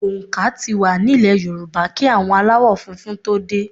Òǹkà tí wá nílè Yorùbá kí àwọn aláwò funfun tó dè.